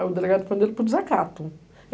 Aí o delegado prendeu ele por desacato.